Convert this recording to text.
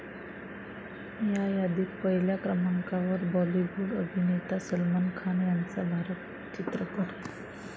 या यादीत पहिल्या क्रमांकावर बॉलिवूड अभिनेता सलमान खान याचा भारत चित्रपट आहे.